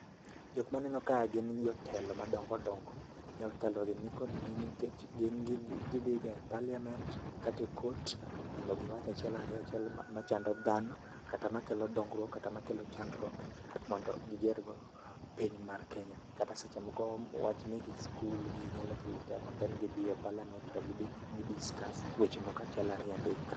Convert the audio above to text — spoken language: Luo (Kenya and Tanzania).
Jok maneno ka gn jotelo madongo dongo. Jotelo gi nikod nengo nikech gidhi ga e parliament kata e court mondo giwach achiel ariyo machando dhano kata makelo dongruok kata makelo chandruok mondo giger go piny mar Kenya. Kata seche moko wach meke skul gi nyalo kelo tabu and then gidhi e parliament then gi discuss weche moko achiel ariyo adek